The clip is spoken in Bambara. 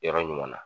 Yɔrɔ ɲuman na